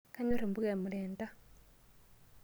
Kanyorr mpuka e mrenda.